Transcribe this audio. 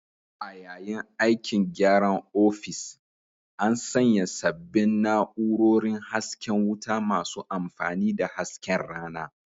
A yayin aikin gyaran ofis, an sanya sabbin na'urorin hasken wuta masu amfani da hasken rana